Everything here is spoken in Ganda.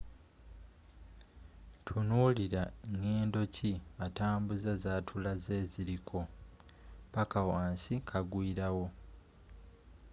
tunuulila ngedo kki atambuza zatulaze eziliko paka wansi kagwiilawo